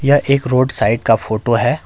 यह एक road side का फोटो है।